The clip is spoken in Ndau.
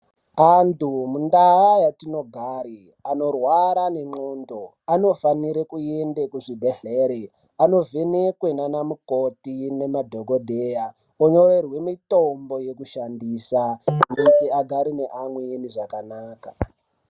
Antu mundaa yatinogare anorwara nendxondo anofanire kuende kuchibhedhlere, anovhenekwe ndiana mukoti nemadhogodheya onyorerwe mitombo yekushandisa kuitira agare neamweni zvakanaka.